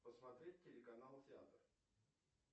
посмотреть телеканал театр